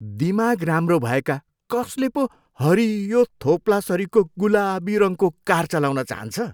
दिमाग राम्रो भएका कसले पो हरियो थोप्लासरिको गुलाबी रङको कार चलाउन चाहन्छ?